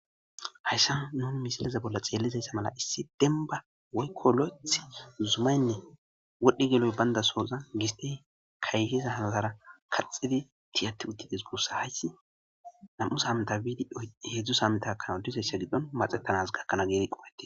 hayssa nun misileze bolla xeellizayssa mala issi denba waykko loth zumaynne wodhdhi geloy bayndasoza giste kayhiza haalara kaxxidi tiyati uttides guussa hayssi nam7us hamta biidi heedzdzusa hamtakanaw diseyssa giddon maxettanas gakkanaa geeti qowate